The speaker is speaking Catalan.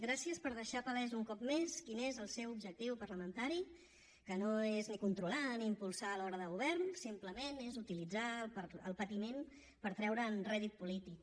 gràcies per deixar palès un cop més quin és el seu objectiu parlamentari que no és ni controlar ni impulsar a l’obra de govern simplement és utilitzar el patiment per treure’n rèdit polític